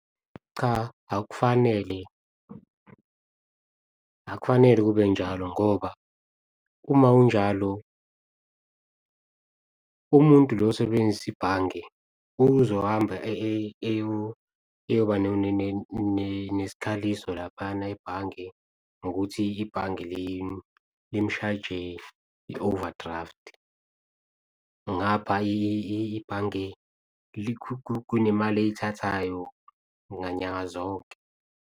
Cha, akufanele akufanele kube njalo ngoba uma kunjalo umuntu lo osebenzisa ibhange uzohamba eyoba nesikhaliso laphana ebhange ngokuthi ibhange limshajile i-overdraft. Ngapha ibhange kunemali eyithathayo nganyanga zonke.